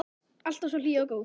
Alltaf svo hlý og góð.